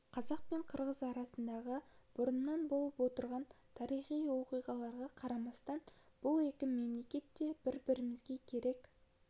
қазақ пен қырғыз арасындағы бұрыннан болып отырған тарихи оқиғаларға қарамастан бұл екі мемлекет те бір-бірімізге керек